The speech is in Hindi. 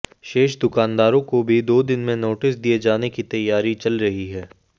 शेष दुकानदारों को भी दो दिन में नोटिस दिए जाने की तैयारी चल रही है